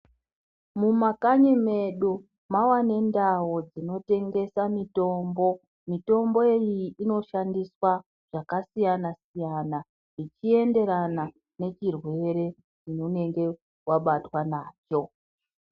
Mumakanyi medu mava nendao dzinotengesa mitombo mitombo iyi inoshandiswa zvakasiyana siyana zvechienderana nechirwere chaunenge wabatwa nacho .